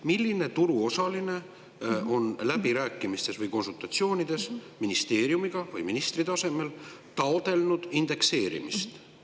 Milline turuosaline on läbirääkimistes või konsultatsioonides ministeeriumiga või ministri tasemel taotlenud indekseerimist?